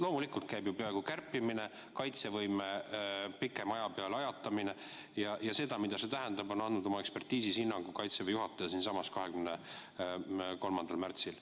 Loomulikult käib kärpimine, kaitsevõime pikema aja peale ajatamine ja sellele, mida see tähendab, on andnud oma ekspertiisis hinnangu Kaitseväe juhataja siinsamas 23. märtsil.